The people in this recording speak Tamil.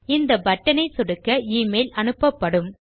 இந்தbutton ஐ சொடுக்க எமெயில் அனுப்பப்படும்